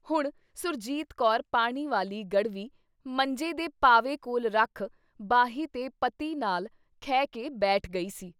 ਹੁਣ ਸੁਰਜੀਤ ਕੌਰ ਪਾਣੀ ਵਾਲੀ ਗੜਵੀ ਮੰਜੇ ਦੇ ਪਾਵੇ ਕੋਲ ਰੱਖ ਬਾਹੀਂ ਤੇ ਪਤੀ ਨਾਲ ਖਹਿ ਕੇ ਬੈਠ ਗਈ ਸੀ।